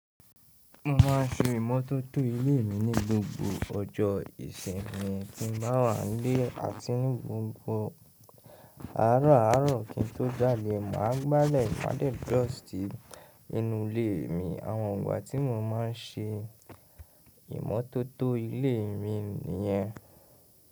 Mo ma ń se ìmọ́tótó ilé mi ní gbogbo ọjọ́ Ìsìnmí tí n báa wa ń lè àti ní gbogbo àárọ̀ àárọ̀ kí ń tó ja dè. Màá gbale ma de dust inú ilé mi. Àwọn ìgbà tí mo máa ń ṣé ìmọ́tótó ilé mi nìyẹn.